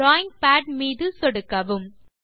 drawing pad மீது சொடுக்கவும்